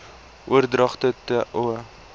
oordragte t o